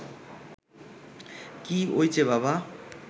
কী ওইচে বাবা